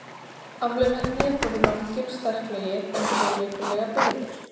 Afturlimirnir voru langir og sterklegir, en þó lipurlega byggðir.